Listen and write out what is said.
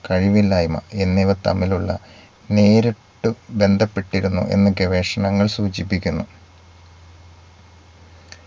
കഴിവില്ലായ്മ എന്നിവ തമ്മിലുള്ള നേരിട്ടു ബന്ധപ്പെട്ടിരുന്നു എന്ന് ഗവേഷണങ്ങൾ സൂചിപ്പിക്കുന്നു